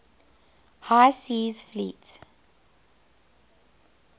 high seas fleet